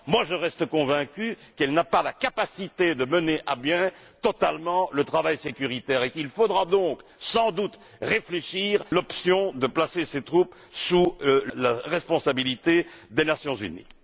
Néanmoins, je reste convaincu qu'elle n'a pas la capacité de mener à bien totalement le travail sécuritaire et qu'il faudra donc, sans doute, envisager la possibilité de placer ces troupes sous la responsabilité des Nations unies.